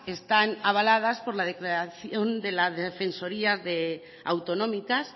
están avaladas por la declaración de las defensorías autonómicas